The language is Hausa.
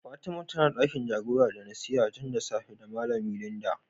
Fatima tanz dakin jagora da nasiha tun da safe da malami Linda.